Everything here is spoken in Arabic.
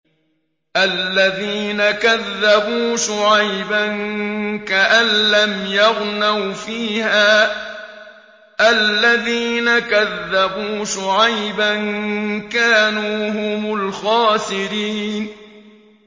الَّذِينَ كَذَّبُوا شُعَيْبًا كَأَن لَّمْ يَغْنَوْا فِيهَا ۚ الَّذِينَ كَذَّبُوا شُعَيْبًا كَانُوا هُمُ الْخَاسِرِينَ